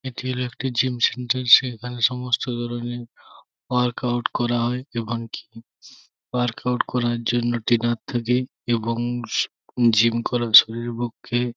এটি হলো একটি জিম সেন্টার সেখানে সমস্ত ধরণের ওয়ার্ক আউট করা হয় এবং ওয়ার্ক আউট করার জন্য ট্রেইনার থাকে এবং জিম করা শরীরের পক্ষে--